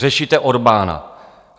Řešíte Orbána.